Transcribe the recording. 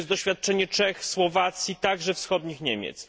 To jest doświadczenie Czech, Słowacji, także Wschodnich Niemiec.